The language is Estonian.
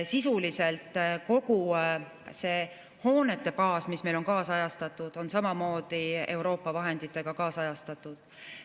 Sisuliselt kogu see hoonete baas, mis meil on kaasajastatud, on samamoodi Euroopa vahenditega kaasajastatud.